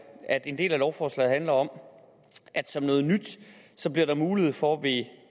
at en del af lovforslaget handler om at som noget nyt bliver der mulighed for ved